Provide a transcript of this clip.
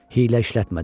Hiylə işlətmədim.